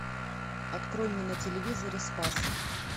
открой мне на телевизоре спас